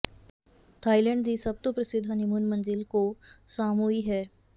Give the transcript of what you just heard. Thailand ਦੀ ਸਭ ਤੋਂ ਪ੍ਰਸਿੱਧ ਹਨੀਮੂਨ ਮੰਜ਼ਿਲ ਕੋ ਸਾਂਮੂਈ ਹੈ